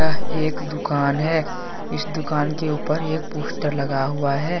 एक दुकान है इस दुकान के ऊपर एक पोस्टर लगा हुआ है।